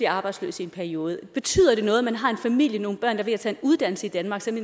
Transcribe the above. arbejdsløs i en periode betyder det noget at man har en familie nogle der er ved at tage en uddannelse i danmark så